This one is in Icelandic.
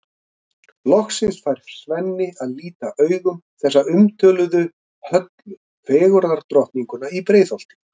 Loksins fær Svenni að líta augum þessa umtöluðu Höllu, fegurðardrottninguna í Breiðholti.